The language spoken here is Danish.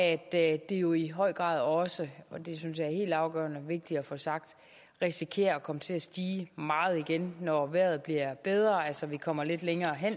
at det jo i høj grad også og det synes jeg er helt afgørende og vigtigt at få sagt risikerer at komme til at stige meget igen når vejret bliver bedre altså når vi kommer lidt længere hen